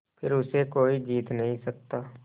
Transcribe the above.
फिर उसे कोई जीत नहीं सकता